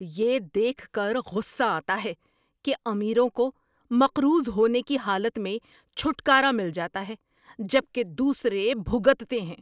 یہ دیکھ کر غصہ آتا ہے کہ امیروں کو مقروض ہونے کی حالت میں چھٹکارا مل جاتا ہے جبکہ دوسرے بھگتتے ہیں۔